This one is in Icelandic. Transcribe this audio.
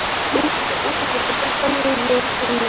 Úlfljótur, slökktu á niðurteljaranum.